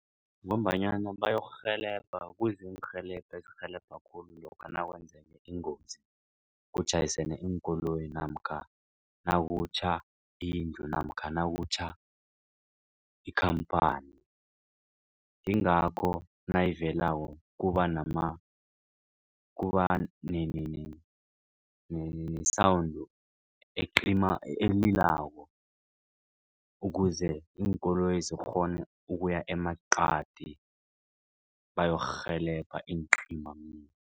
Ngombanyana bayokurhelebha kuza iinrhelebho ezirhelebha khulu lokha nakwenzeka ingozi kutjhayisane iinkoloyi namkha nakutjha indlu namkha nakutjha ikhamphani. Yingakho nayivelako kuba ne-sound elilako ukuze iinkoloyi zikghone ukuya emaqadi bayokurhelebha iincimamlilo.